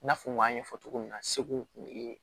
I n'a fɔ n k'a ɲɛfɔ cogo min na segu kun ye